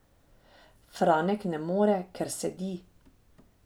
Franek ne more, ker sedi.